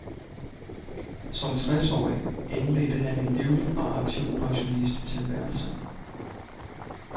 Som tres årig indledte han en livlig og aktiv pensionisttilværelse.